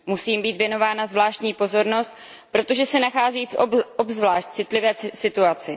Musí jim být věnována zvláštní pozornost, protože se nachází v obzvlášť citlivé situaci.